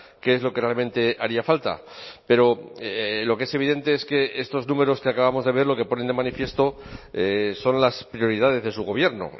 que es lo que realmente haría falta pero lo que es evidente es que estos números que acabamos de ver lo que ponen de manifiesto son las prioridades de su gobierno